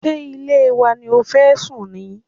Ṣé ilé wa ni o fẹ́ sùn ni?